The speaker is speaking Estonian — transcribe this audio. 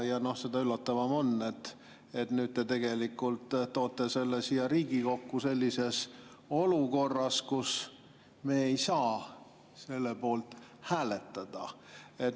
Seda üllatavam on, et nüüd te tegelikult toote selle siia Riigikokku sellises olukorras, kus me ei saa selle poolt hääletada.